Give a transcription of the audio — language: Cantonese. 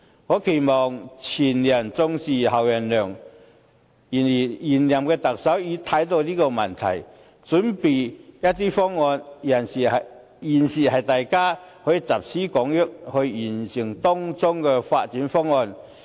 我期望"前人種樹，後人乘涼"，現任特首已經看到了這個問題，準備了一些方案，大家現在可以集思廣益，完善當中的發展方案。